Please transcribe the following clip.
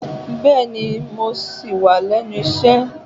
Bẹẹni, mo ṣì wà lénu isẹ.